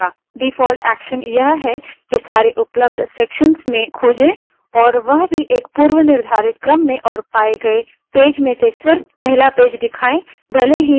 default action यह है कि सारे उपलब्ध sections में खोजे और वह भी एक पूर्वनिर्धारित क्रम में और पाए गए पेज में से search पहला पेज दिखाए भले ही वह पेज कई sections में मौजूद है